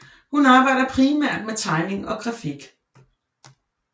Hun arbejder primært med tegning og grafik